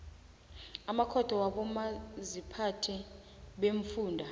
amakhotho wabomaziphathe beemfunda